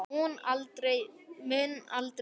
Mun aldrei vita.